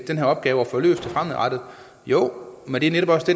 den her opgave fremadrettet jo men det er netop også